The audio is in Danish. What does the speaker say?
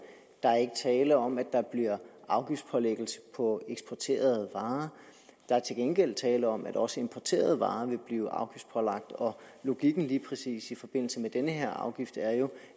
der er ikke tale om at der bliver afgiftspålæggelse på eksporterede varer der er til gengæld tale om at også importerede varer vil blive afgiftspålagt og logikken lige præcis i forbindelse med den her afgift er jo